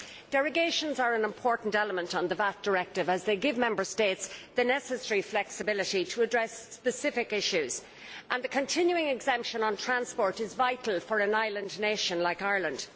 Derogations are an important element of the VAT Directive as they give Member States the necessary flexibility to address specific issues, and the continuing exemption on transport is vital for an island nation like Ireland.